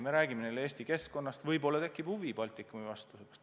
Me räägime neile Eesti keskkonnast, võib-olla neil tekib huvi Baltikumi vastu.